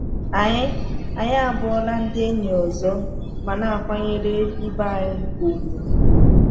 Anyị Anyị abụọla ndị enyi ọzọ ma na-akwanyere ibe anyị ùgwù.